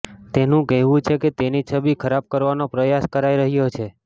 તેનું કહેવું છે કે તેની છબી ખરાબ કરવાનો પ્રયાસ કરાઈ રહ્યો છે